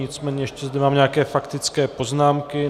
Nicméně ještě zde mám nějaké faktické poznámky.